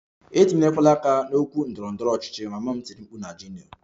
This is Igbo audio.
Etinyekwala aka n'okwu ndọrọ ndọrọ ọchịchị! Mama m tiri mkpu na Junior